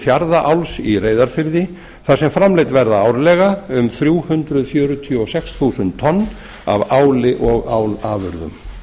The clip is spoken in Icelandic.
fjarðaál í reyðarfirði þar sem framleidd verða árlega um þrjú hundruð fjörutíu og sex þúsund tonn af áli og álafurðum